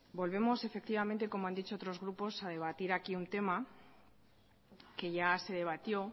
volvemos efectivamente como han dicho otros grupos a debatir aquí un tema que ya se debatió